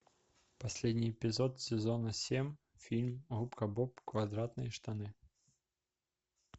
последний эпизод сезона семь фильм губка боб квадратные штаны